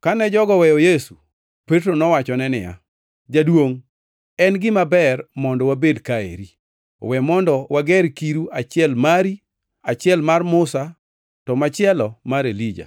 Kane jogo weyo Yesu, Petro nowachone niya, “Jaduongʼ en gima ber mondo wabed ka eri. We mondo wager kiru achiel mari, achiel mar Musa to machielo mar Elija.”